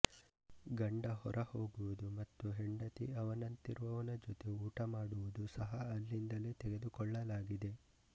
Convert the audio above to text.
ಗಂಡ ಹೊರ ಹೋಗುವುದು ಮತ್ತು ಹೆಂಡತಿ ಅವನಂತಿರುವವನ ಜೊತೆ ಊಟ ಮಾಡುವುದು ಸಹಾ ಅಲ್ಲಿಂದಲೇ ತೆಗೆದುಕೊಳ್ಳಲಾಗಿದೆ